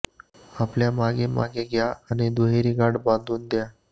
आपल्या मागे मागे घ्या आणि दुहेरी गाठ बांधून घ्या